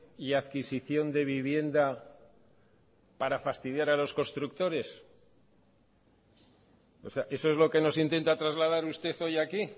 y adquisición de vivienda para fastidiar a los constructores o sea eso es lo que nos intenta trasladar usted hoy aquí